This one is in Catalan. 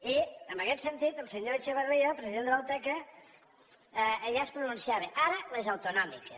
i en aquest sentit el senyor echevarría el president de la uteca ell ja es pronunciava ara les autonòmiques